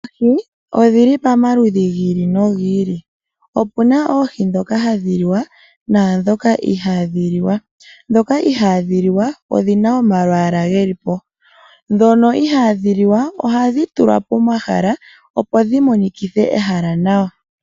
Oohi odhi li pamaludhi gi ili nogi ili. Opu na oohi ndhoka hadhi liwa naandhoka ihaadhi liwa. Ndhoka ihadhi liwa odhi na omalwaala ge li po. Ndhono ihadhi liwa ohadhi tulwa pomahala, opo dhi monikithe ehala nawa.